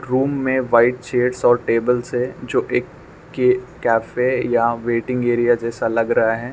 Room में white chairs और tables है जो एक के कैफे या वेटिंग एरिया जैसा लग रहा है।